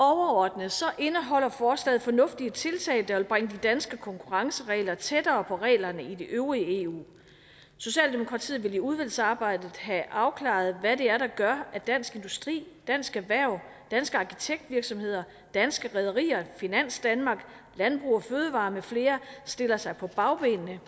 overordnet indeholder forslaget fornuftige tiltag der vil bringe de danske konkurrenceregler tættere på reglerne i det øvrige eu socialdemokratiet vil i udvalgsarbejdet have afklaret hvad det er der gør at dansk industri dansk erhverv danske arkitektvirksomheder danske rederier finans danmark landbrug fødevarer med flere stiller sig på bagbenene